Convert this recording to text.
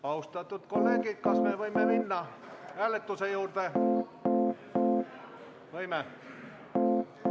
Austatud kolleegid, kas me võime minna hääletuse juurde?